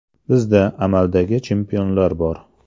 Bizda amaldagi chempionlar bor.